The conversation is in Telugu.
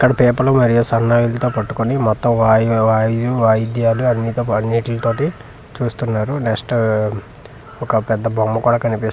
ఇక్కడ పేపర్లు మరియు సన్నాయిలతో పట్టుకొని మొత్తం వాయు వాయు వాయిద్యాలు అన్నీ అన్నిలతోటి చూస్తున్నారు డస్ట్ ఒక పెద్ద బొమ్మ కూడా కనిపిస్తుంది ఆ బొమ్మ--